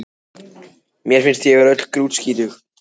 Mér finnst ég öll vera grútskítug